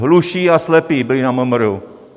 Hluší a slepí byli na MMR.